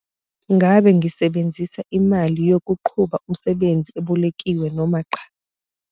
Ngabe Ngisebenzisa IMALI YOKUQHUBA UMSEBENZI EBOLEKIWE noma cha?